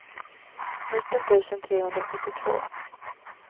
nitton tusen trehundrasjuttiotvå